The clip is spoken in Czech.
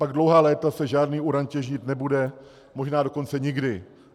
Pak dlouhá léta se žádný uran těžit nebude, možná dokonce nikdy.